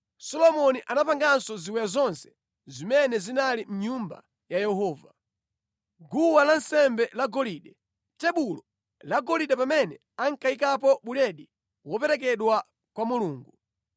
Solomoni anapanganso ziwiya zonse zimene zinali mʼNyumba ya Yehova: guwa lansembe lagolide; tebulo lagolide pamene ankayikapo buledi woperekedwa kwa Mulungu;